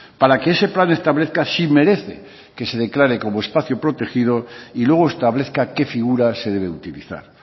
para que ese plan establezca si merece que se declare como espacio protegido y luego establezca qué figura se debe utilizar